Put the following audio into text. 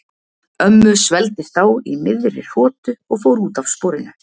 Ömmu svelgdist á í miðri hrotu og fór út af sporinu.